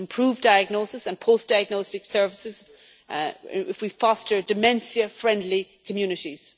We can improve diagnosis and post diagnostic services if we foster dementia friendly communities.